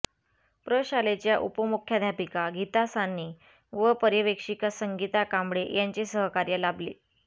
प्रशालेच्या उपमुख्याध्यापिका गीता साने व पर्यवेक्षिका संगीता कांबळे यांचे सहकार्य लाभले